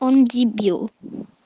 он дебил